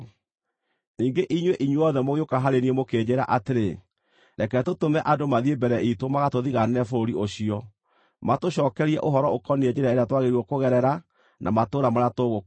Ningĩ inyuĩ, inyuothe mũgĩũka harĩ niĩ mũkĩnjĩĩra atĩrĩ, “Reke tũtũme andũ mathiĩ mbere iitũ magatũthigaanĩre bũrũri ũcio, matũcookerie ũhoro ũkoniĩ njĩra ĩrĩa twagĩrĩirwo kũgerera na matũũra marĩa tũgũkora.”